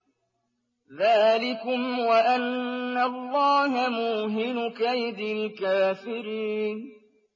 ذَٰلِكُمْ وَأَنَّ اللَّهَ مُوهِنُ كَيْدِ الْكَافِرِينَ